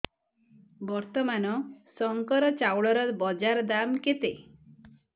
ବର୍ତ୍ତମାନ ଶଙ୍କର ଚାଉଳର ବଜାର ଦାମ୍ କେତେ